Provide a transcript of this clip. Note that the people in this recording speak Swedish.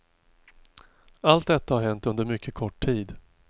Allt detta har hänt under mycket kort tid.